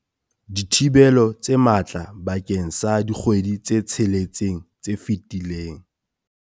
Dithibelo tse matla bakeng sa dikgwedi tse tsheletseng tse fetileng.